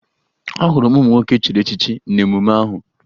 Ahụrụ m ụmụ nwoke echiri echichi n'emume ahụ